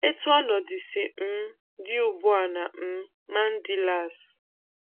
Etu ọnọdụ si um dị ugbua na um Mandilas